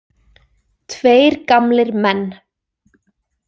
Tveir gamlir menn.